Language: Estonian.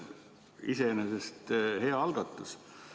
Iseenesest hea algatus.